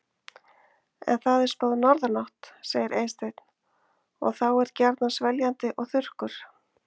En það er spáð norðanátt, segir Eysteinn, og þá er gjarnan sveljandi og þurrkur.